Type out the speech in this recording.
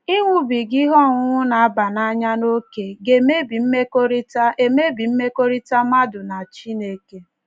Ịṅụbiga ihe ọṅụṅụ na - aba n’anya n' ókè ga - emebi mmekọrịta - emebi mmekọrịta mmadụ na Chineke.